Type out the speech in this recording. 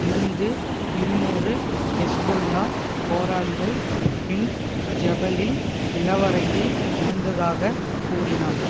இருந்து இருநூறு ஹெஸ்பொல்லா போராளிகள் பின்ட் ஜெபலில் நிலவறையில் இருந்ததாக கூறினார்